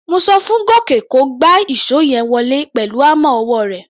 Mo so fún Gòkè kó gba ìṣó yẹn wọlé pẹ̀lú hámà ọwọ́ rẹ̀.